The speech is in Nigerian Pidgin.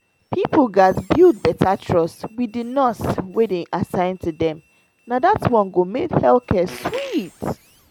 people gaz build better trust wit di nurse wey dey assign to dem na dat one go make health care sweet.